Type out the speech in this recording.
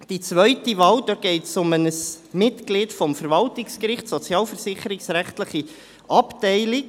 Bei der zweiten Wahl geht es um ein Mitglied des Verwaltungsgerichts, sozialversicherungsrechtliche Abteilung.